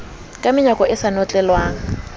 ka menyako e sa notlelwang